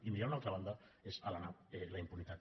i mirar a una altra banda és alenar la impunitat